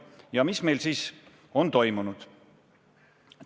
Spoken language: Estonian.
Ja mis meil siis on toimunud?